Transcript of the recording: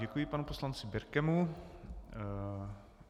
Děkuji panu poslanci Birkemu.